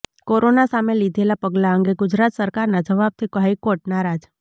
corona સામે લીધેલા પગલા અંગે ગુજરાત સરકારના જવાબથી હાઇકોર્ટ નારાજ